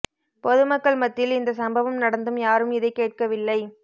பொது மக்கள் மத்தியில் இந்த சம்பவம் நடந்தும் யாரும் இதை கேட்கவில்லை